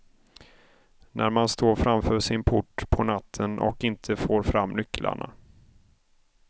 När man står framför sin port på natten och inte får fram nycklarna.